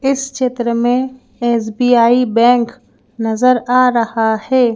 इस चित्र में एस_ बी_ आई_ बैंक नजर आ रहा है।